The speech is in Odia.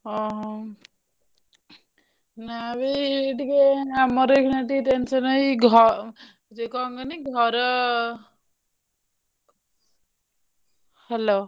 ଓହୋ! ନା ବେ ଏଇ ଟିକେ ଆମର ଏଇଖିନା ଟିକେ tension ଏଇ ଘର ଯଉ କଣ କହନି ଘର hello ।